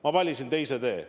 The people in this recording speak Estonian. Ma valisin teise tee.